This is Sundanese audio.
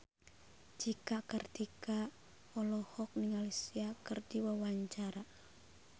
Cika Kartika olohok ningali Sia keur diwawancara